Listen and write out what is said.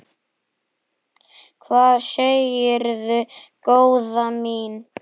Hvað segirðu góða mín?